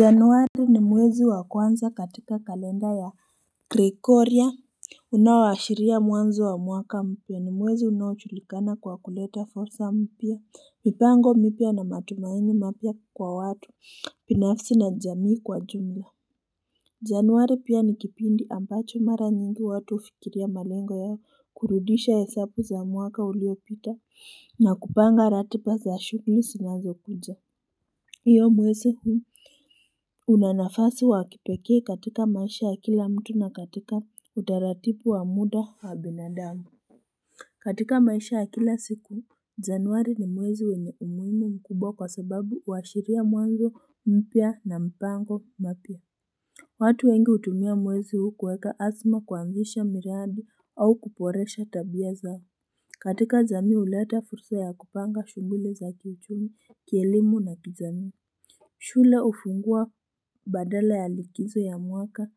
Januari ni mwezi wa kwanza katika kalenda ya krekorya Unaoashiria mwanzo wa mwaka mpya. Ni mwezi unaoujulikana kwa kuleta fursa mpya, mipango mipya na matumaini mapya kwa watu binafsi na jamii kwa jumla Januari pia ni kipindi ambacho mara nyingi watu hufikiria malengo yao kurudisha hesabu za mwaka uliopita na kupanga ratiba za shuguli zinazokuja mwezi huu una nafasi wa kipekee katika maisha ya kila mtu na katika utaratibu wa muda wa binadamu. Katika maisha ya kila siku Janwari ni mwezi wenye umuhimu mkubwa kwa sababu huashiria mwanzo mpya na mpango mpya watu wengi hutumia mwezi huu kuweka azma, kuanzisha miradi au kuboresha tabia zao. Katika jamii huleta fursa ya kupanga shuguli za kiuchumi, kielimu na kijamii shule hufungua baada ya likizo ya mwaka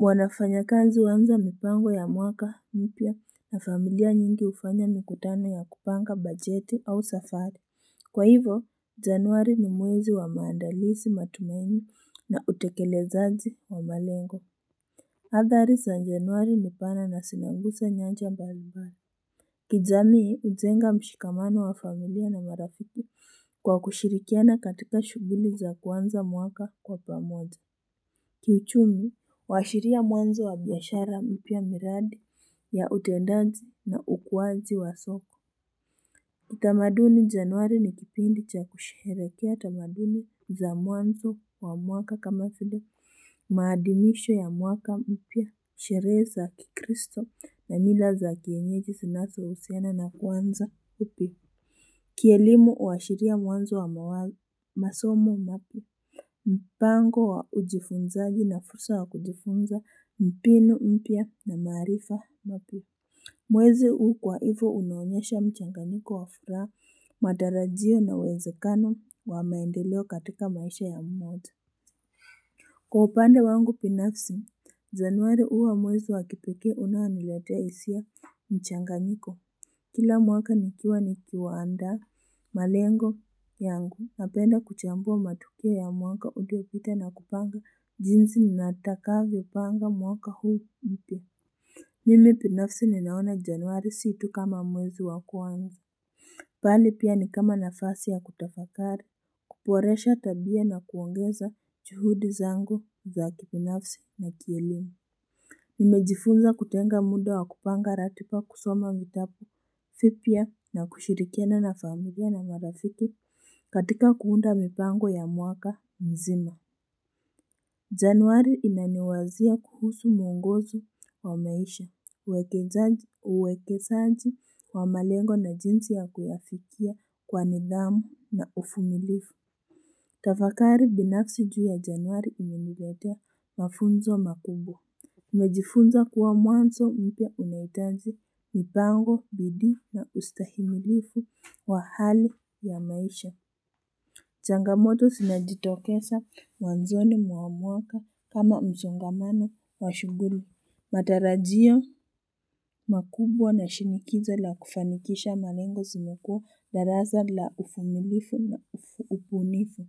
wafanyikazi huanza mipango ya mwaka mpya na familia nyingi hufanya mikutano ya kupanga bajeti au safari Kwa hivo januari ni mwezi wa maandalizi, matumaini na utekelezaji wa malengo Hthari za januari ni pana na zinaguza nyanja mbalimbali. Kijamii, hujenga mshikamano wa familia na marafiki kwa kushirikiana katika shuguli za kuanza mwaka kwa pamoja. Kiuchumi, huashiria mwanzo wa biashara mpya, miradi ya utendaji na ukuwaji wa soko. Januari ni kipindi cha kusherehekea tamaduni za mwanzo wa mwaka kama vile maadhimisho ya mwaka mpya sherehe za kikristo na mila za kienyeji zinazohusiana na kuanza upya Kielimu huashiria mwanzo wa masomo, mpango wa ujifunzaji na fursa ya kujifunza mbinu mpya na maarifa mapya Mwezi huu kwa hivyo unaonyesha mchanganyiko wa furaha, matarajio na uwezekano wa maendeleo katika maisha ya mmoja. Kwa upande wangu, binafsi januari huwa mwezi wa kipekee unaonilotea hisia mchanganyiko Kila mwaka nikiandaa malengo yangu, napenda kuchambua matukio ya mwaka uliopita na kupanga jinsi nitakavyopanga mwaka huu. Mimi binafsi ninaona januari si tu kama mwezi wa kwanza bali pia ni kama nafasi ya kutafakari, kuboresha tabia na kuongeza juhudi zangu za kibinafsi na kielimu Nimejifunza kutenga muda wa kupanga ratiba kusoma vitabu vipya na kushirikiana na familia na marafiki katika kuunda mipango ya mwaka mzima Januari inaniwazia kuhusu mwongozo wa maisha, uwekezaji wa malengo na jinsi ya kuyaafikia kwa nidhamu na uvumilivu. Tafakari binafsi juu ya januari imeniletea mafunzo makubwa. Nimejifunza kuwa mwanzo mpya unahitaji mipango, bidii na ustahimilifu wa hali ya maisha. Changamoto zinajitokeza mwanzoni mwa mwaka kama msongamano wa shuguli. Matarajio makubwa na shinikizo la kufanikisha malengo zinukuu darasa la uvumilifu na ubunifu.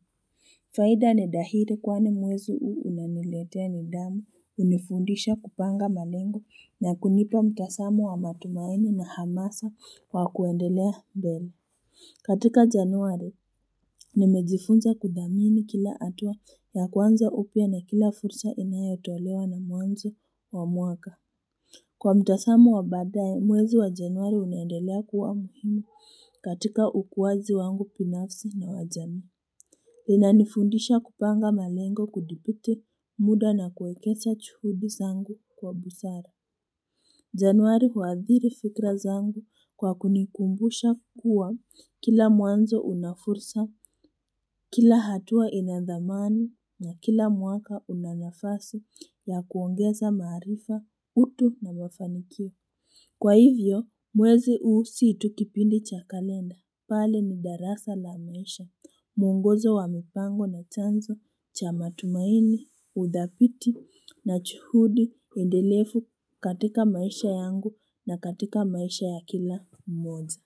Faida ni dhahiri kwani mwezi huu unaniletea nidhamu hunifundisha kupanga malengo na kunipa mtazamo wa matumaini na hamasa wa kuendelea mbele. Katika januari, nimejifunza kudhamini kila hatua ya kuanza upya na kila fursa inayotolewa na mwanzo wa mwaka. Kwa mtazamo wa badaye, mwezi wa januari unaendelea kuwa muhimi katika ukuaji wangu binafsi na wa jamii. Linanifundisha kupanga malengo kudhibiti muda na kuwekeza juhudi zangu kwa busara. Januari huadhiri fikra zangu kwa kunikumbusha kuwa kila mwanzo una fursa, kila hatua ina dhamani na kila mwaka una nafasi ya kuongeza maarifa, utu na mafanikio. Kwa hivyo mwezi huu si tu kipindi cha kalenda bali ni darasa la maisha, muongozo wa mipango na chanzo cha matumaini, udhabiti na juhudi endelefu katika maisha yangu na katika maisha ya kila mmoja.